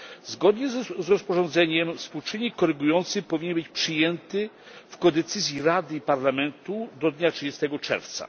Zgodnie z rozporządzeniem współczynnik korygujący powinien być przyjęty w ramach współdecyzji Rady i Parlamentu do dnia 30 czerwca.